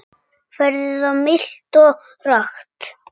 Veðrið var milt og rakt.